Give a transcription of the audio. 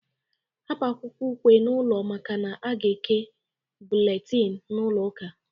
Hapụ akwụkwọ ukwe n'ụlọ makana a ga-eke bụletini n'ụlọ ụka.